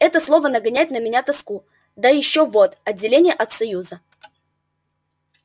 это слово нагоняет на меня тоску да и ещё вот отделение от союза